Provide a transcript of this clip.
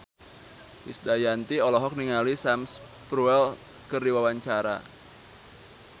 Krisdayanti olohok ningali Sam Spruell keur diwawancara